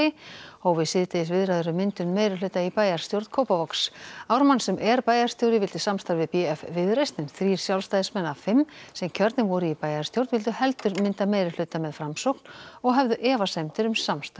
hófu síðdegis viðræður um myndun meirihluta í bæjarstjórn Kópavogs Ármann sem er bæjarstjóri vildi samstarf við b f Viðreisn en þrír Sjálfstæðismenn af fimm sem kjörnir voru í bæjarstjórn vildu heldur mynda meirihluta með Framsókn og höfðu efasemdir um samstarf